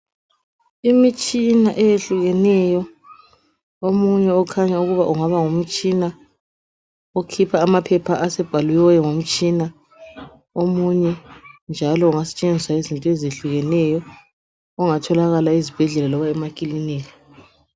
Imitshina eyehlukeneyo, omunye ukhanya ukuba ungaba ngumtshina okhipha amaphepha asebhaliweyo ngumtshina. Omunye njalo ungasetshenziswa izinto ezehlukeneyo ,ongatholakala ezibhedlela loba emakilinika.